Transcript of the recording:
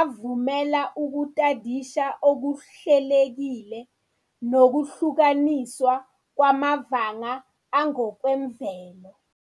avumela ukutadisha okuhlelekile nokuhlukaniswa kwamavanga angokwemvelo.